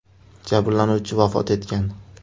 Jabrlanuvchi vafot etgan.